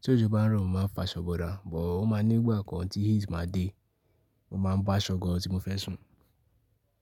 Tí òjò bá ń rọ̀ mó má a fa aṣọ búra, bọ̀ ó ma nígbà kan tí heat má a dé, mo ma bo aṣọ gan tí mo fẹ́ sùn.